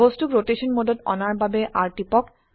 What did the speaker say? বস্তুক ৰোটেশন মোডত আনাৰ বাবে R টিপক